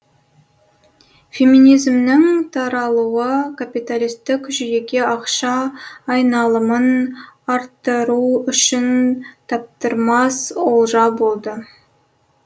феминизмнің таралуы капиталистік жүйеге ақша айналымын арттыру үшін таптырмас олжа болды